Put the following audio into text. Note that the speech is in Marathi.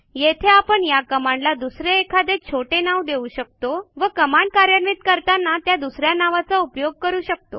येथे आपण या कमांडला दुसरे एखादे छोटे नाव देऊ शकतो व कमांड कार्यान्वित करताना त्या दुस या नावाचा उपयोग करू शकतो